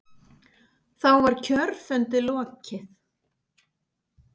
Þá var kjörfundi lokið.